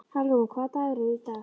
Hallrún, hvaða dagur er í dag?